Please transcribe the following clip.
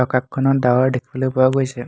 আকাশখনত ডাৱৰ দেখিবলৈ পোৱা গৈছে।